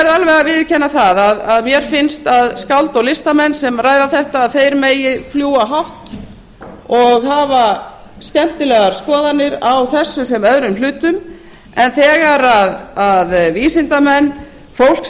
alveg að viðurkenna að mér finnst að skáld og listamenn sem ræða þetta megi fljúga hátt og hafa skemmtilegar skoðanir á þessu sem öðrum hlutum en þegar vísindamenn fólk